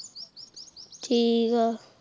ਠੀਕ ਆ